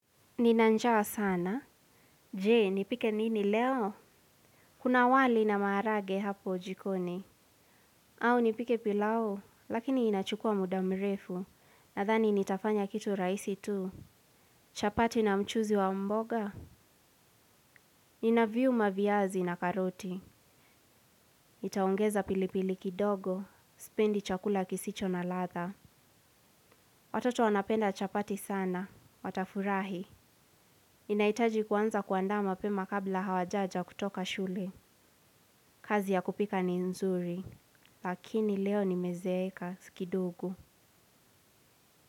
Ninanjaa sana. Je, nipike nini leo? Kuna wali na maharage hapo jikoni. Au nipike pilau, lakini inachukua muda mrefu. Nadhani nitafanya kitu raisi tu. Chapati na mchuzi wa mboga. Nina viuma viazi na karoti. Itaongeza pili pili kidogo. Supendi chakula kisicho na latha. Watoto wanapenda chapati sana. Watafurahi. Inaitaji kwanza kuandaa mapema kabla hawajaja kutoka shule. Kazi ya kupika ni nzuri, lakini leo nime zeeka si kidogo.